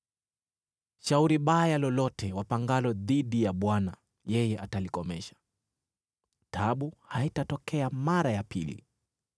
Shauri baya lolote wapangalo dhidi ya Bwana yeye atalikomesha; taabu haitatokea mara ya pili.